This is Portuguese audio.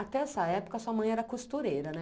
Até essa época sua mãe era costureira, né?